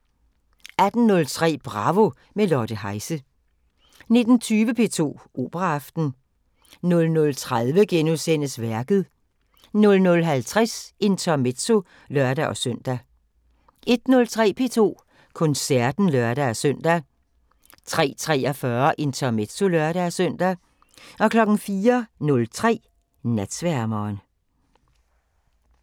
18:03: Bravo – med Lotte Heise 19:20: P2 Operaaften 00:30: Værket * 00:50: Intermezzo (lør-søn) 01:03: P2 Koncerten (lør-søn) 03:43: Intermezzo (lør-søn) 04:03: Natsværmeren